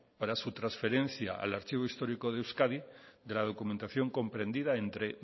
para su trasferencia al archivo histórico de euskadi de la documentación comprendida entre